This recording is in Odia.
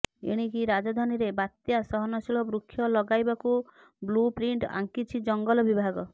ଏଣିକି ରାଜଧାନୀରେ ବାତ୍ୟା ସହନଶୀଳ ବୃକ୍ଷ ଲଗାଇବାକୁ ବ୍ଲୁ ପ୍ରିଣ୍ଟ ଆଙ୍କିଛି ଜଙ୍ଗଲ ବିଭାଗ